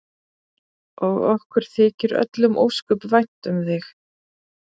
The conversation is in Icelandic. Og okkur þykir öllum ósköp vænt um þig.